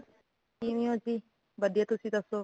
ਕਿਵੇਂ ਹੋ ਜੀ ਵਧੀਆਂ ਤੁਸੀ ਦਸੋ